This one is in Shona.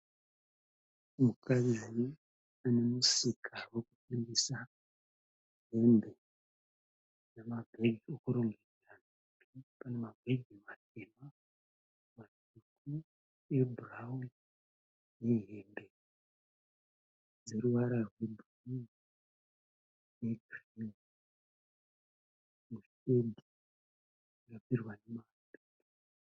Mukadzi anemusika wekutengesa hembe nemabhegi ekurongedza , pane mabhegi matema, matsvuku ebhurauni nehembe dzeruvara rwebhuruu negirini mushedhi yakagadzirwa nemaasibhesitosi.